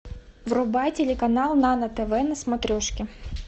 врубай телеканал нано тв на смотрешке